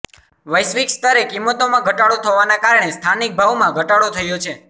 વૈશ્વિક સ્તરે કિંમતોમાં ઘટાડો થવાને કારણે સ્થાનિક ભાવમાં ઘટાડો થયો છે